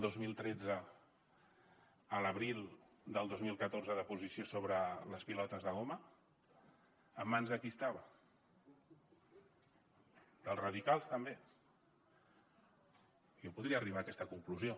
dos mil tretze a l’abril del dos mil catorze de posició sobre les pilotes de goma en mans de qui estava dels radicals també jo podria arribar a aquesta conclusió